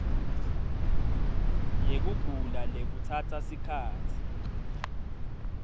yekugula lekutsatsa sikhatsi